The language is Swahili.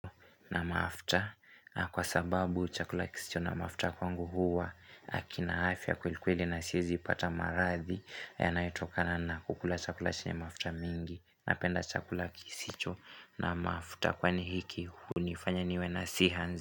Na mafta na kwa sababu chakula kisicho na mafta kwangu huwa hakina afya kuilikweli na siezi ipata maradhi Yanayotokana na kukula chakula chenye mafta mingi napenda chakula kisicho na mafta Kwani hiki hunifanya niwe na siha nzi.